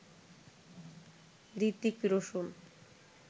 Hrithik Roshan